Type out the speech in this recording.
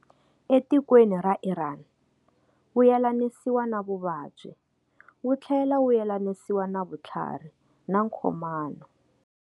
Etikweni ra Irani, wu yelanisiwa na vuvabyi, wuthlela wu yelanisiwa na vuthlarhi na nkhomano.